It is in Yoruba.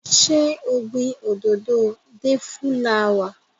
Ṣé o gbin òdòdó òdòdó deifulawa?